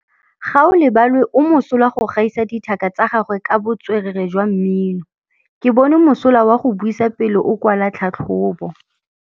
Gaolebalwe o mosola go gaisa dithaka tsa gagwe ka botswerere jwa mmino. Ke bone mosola wa go buisa pele o kwala tlhatlhobô.